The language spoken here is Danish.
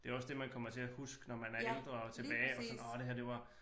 Det jo også det man kommer til at huske når man er ældre og tilbage og sådan åh det her det var